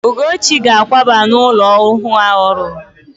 Ugochi ga-àkwába n'ụlọ ọhụụ ahụ ọ rụrụ.